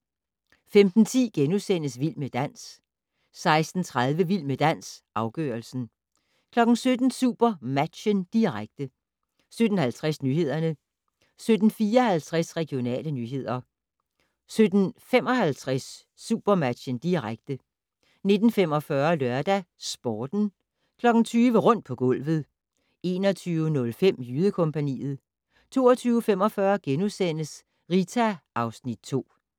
15:10: Vild med dans * 16:30: Vild med dans - afgørelsen 17:00: SuperMatchen, direkte 17:50: Nyhederne 17:54: Regionale nyheder 17:55: SuperMatchen, direkte 19:45: LørdagsSporten 20:00: Rundt på gulvet 21:05: Jydekompagniet 22:45: Rita (Afs. 2)*